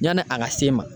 Yani a ka se n ma